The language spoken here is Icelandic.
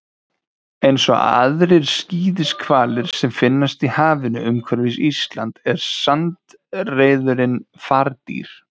Eins og aðrir skíðishvalir sem finnast í hafinu umhverfis Ísland er sandreyðurin fardýr.